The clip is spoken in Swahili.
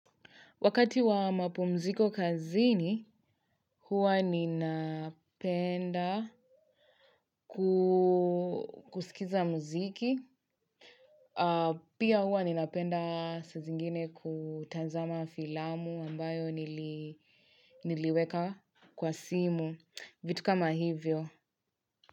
Wakati wa mapumziko kazini, huwa ninapenda kusikiza muziki. Pia huwa ninapenda saa zingine kutanzama filamu ambayo niliweka kwa simu. Vitu kama hivyo.